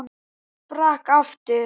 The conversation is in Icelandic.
Ég sprakk aftur.